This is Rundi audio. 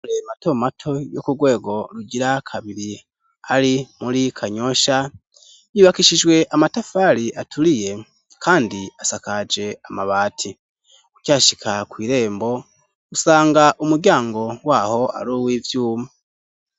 Amashure mato mato yo kurwego rugira kabiri ari muri Kanyosha yubakishijwe amatafari aturiye kandi asakaje amabati, ukihashika kwirembo usanga umuryango waho ari aruwivyuma.